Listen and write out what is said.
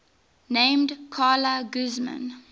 named carla guzman